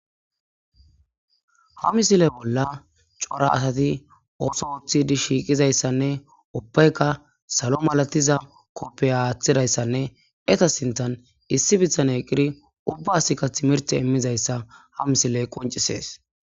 ha misile bolla cora asati ooso uthidi shiiqizayssanne ubbaykka salo malatiza koppey aaththidayssanne eta sinthan issi bithan eqqiri ubbasikka timirte immizayssa ha misile qoncisees